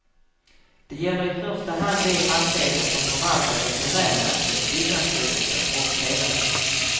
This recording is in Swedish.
Det gäller i första hand de fastigheter som förvaltats av domänverket, byggnadsstyrelsen och televerket.